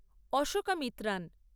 Ashoka Mitran